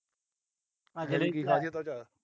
ਕੀ